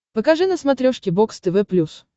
покажи на смотрешке бокс тв плюс